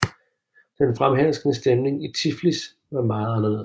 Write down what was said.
Den fremherskende stemning i Tiflis var meget anderledes